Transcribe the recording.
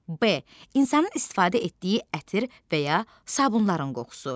B. insanın istifadə etdiyi ətir və ya sabunların qoxusu.